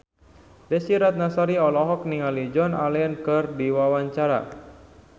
Desy Ratnasari olohok ningali Joan Allen keur diwawancara